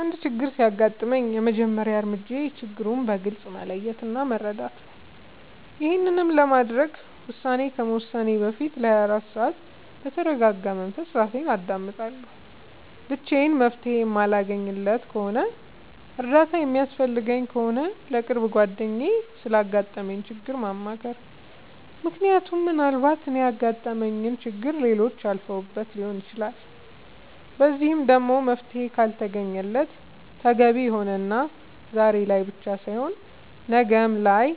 አንድ ችግር ሲያጋጥመኝ የመጀመሪያ እርምጃዬ ችግሩን በግልፅ መለየት እና መረዳት ነዉ ይሄንንም ለማድረግ ውሳኔ ከመወሰኔ በፊት ለ24 ሰዓት በተርጋጋ መንፈስ እራሴን አዳምጣለሁ ብቻዬን መፍትሄ የማለገኝለት ከሆነና እርዳታ የሚያስፈልገኝ ከሆነ ለቅርብ ጓደኛዬ ስላጋጠመኝ ችግር ማማከር ምክንያቱም ምናልባት እኔ ያጋጠመኝን ችግር ሌሎች አልፈውበት ሊሆን ይችላል በዚህም ደግሞ መፍትሄ ካልተገኘለት ተገቢ የሆነና ዛሬ ላይ ብቻ ሳይሆን ነገ ላይም